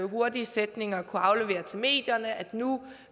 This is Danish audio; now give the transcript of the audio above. hurtig sætning at kunne aflevere til medierne nemlig at nu